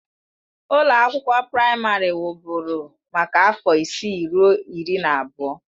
Ụlọ akwụkwọ praịmarị wụ́bụ́ru maka afọ isii ruo iri na abụọ.